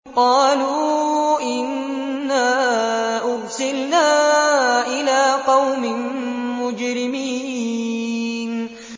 قَالُوا إِنَّا أُرْسِلْنَا إِلَىٰ قَوْمٍ مُّجْرِمِينَ